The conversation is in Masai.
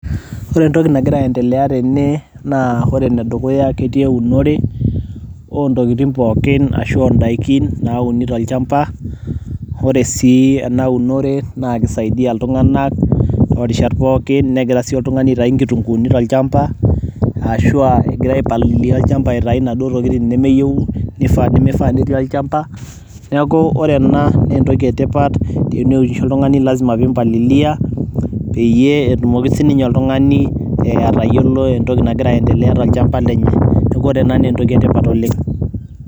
Ore entoki nagira aendelea tene, naa ore enedukuya ketii eunore, ontokiting pookin ashu odaikin nauni tolchamba, ore si enaunore, naa kisaidia iltung'anak torishat pookin. Negira si oltung'ani aitayu nkitunkuuni tolchamba, ashua egira ai palilia olchamba aitayu naduo tokiting nemeyieu, nimifaa netii olchamba. Neeku ore ena naa entoki etipat, teneunisho oltung'ani, lasima pimpalilia, peyie etumoki sininye oltung'ani atayiolo entoki nagira aendelea tolchamba lenye. Neeku ore ena naa entoki etipat oleng'.